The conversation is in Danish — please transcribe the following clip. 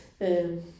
Øh